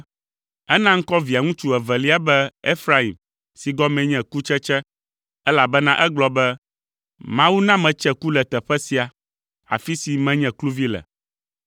Ena ŋkɔ Via ŋutsu evelia be Efraim si gɔmee nye “Kutsetse,” elabena egblɔ be, “Mawu na metse ku le teƒe sia, afi si menye kluvi le.”